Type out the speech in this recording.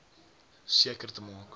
seker te maak